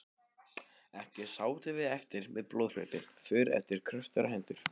Ekki sátum við eftir með blóðhlaupin för eftir kröftugar hendur.